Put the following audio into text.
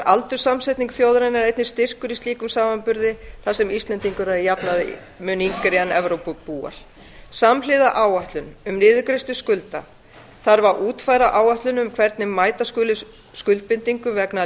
aldurssamsetning þjóðarinnar einnig styrkur í slíkum samanburði þar sem íslendingar eru að jafnaði mun yngri en evrópubúar samhliða áætlun um niðurgreiðslu skulda þarf að útfæra áætlun um hvernig mæta skuli skuldbindingum vegna